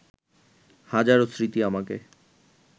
হাজারো স্মৃতি আমাকে